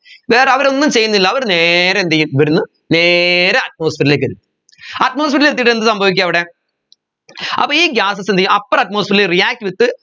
വേറെ അവരൊന്നും ചെയ്യുന്നില്ല അവർ നേരെ എന്ത് ചെയ്യു ഇവിടുന്ന് നേരെ atmosphere ലേക്കെല് atmosphere ൽ എത്തിയിട്ട് എന്ത് സംഭവിക്കു അവിടെ അപ്പോ ഈ gases എന്ത് ചെയ്യും upper atmosphere ൽ react with